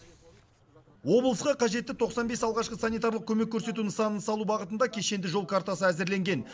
облысқа қажетті тоқсан бес алғашқы санитарлық көмек көрсету нысанын салу бағытында кешенді жол картасы әзірленген